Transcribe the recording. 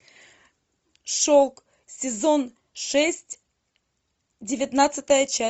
шелк сезон шесть девятнадцатая часть